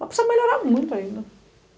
Mas precisa melhorar muito ainda.